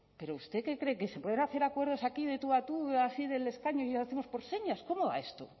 pero usted qué cree que se pueden hacer acuerdos aquí de tú a tú así del escaño y hacemos por señas cómo va esto